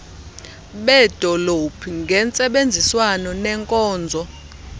beedolophu ngentsebenziswano nenkonzo